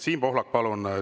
Siim Pohlak, palun!